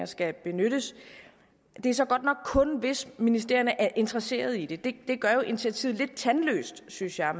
skal benyttes det er så godt nok kun hvis ministerierne er interesseret i det det gør jo initiativet lidt tandløst synes jeg